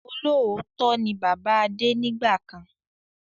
Olóòótọ́ ni bàbá Adé nígbàkan